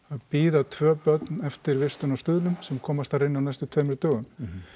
bíða tvö börn eftir vistun á Stuðlum sem komast þar inn á næstu tveimur dögum